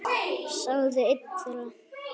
sagði einn þeirra.